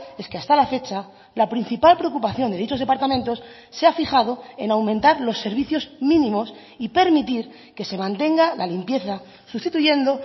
es que hasta la fecha la principal preocupación de dichos departamentos se ha fijado en aumentar los servicios mínimos y permitir que se mantenga la limpieza sustituyendo